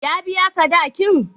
Ya biya sadaki'n?